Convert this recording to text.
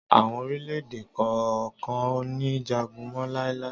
Àwọn orílẹ̀-èdè kan kò ní jagun mọ́ láíláí.